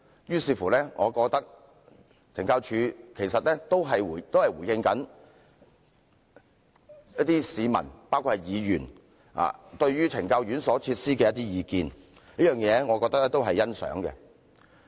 由此可見，懲教署其實也在回應市民對於懲教院所設施的一些意見，這點令我欣賞。